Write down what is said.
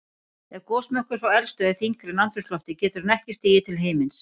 Ef gosmökkur frá eldstöð er þyngri en andrúmsloftið getur hann ekki stigið til himins.